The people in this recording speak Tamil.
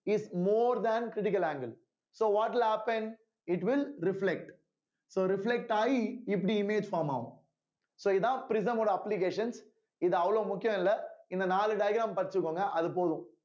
is more than critical angle so what will happen It will reflect so reflect ஆகி இப்படி image form ஆகும் so இதான் prism ஓட application இது அவ்வளோ முக்கியம் இல்லை இந்த நாலு diagram படிச்சுக்கோங்க அது போதும்